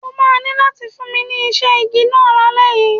O máa ní láti fún mi ní iṣẹ́ igi náà lálẹ́ yìí.